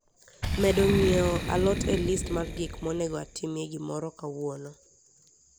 medo ng'iewo alot e list mar gik monego atimie gimoro kawuono